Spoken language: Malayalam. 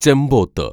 ചെമ്പോത്ത്